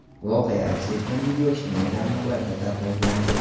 Voqea aks etgan video ijtimoiy tarmoqlarda tarqalgandi.